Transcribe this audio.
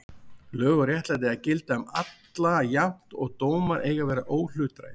Lög og réttlæti eiga að gilda um alla jafnt og dómar eiga að vera óhlutdrægir.